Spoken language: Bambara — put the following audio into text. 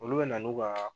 Olu bɛ na n'u ka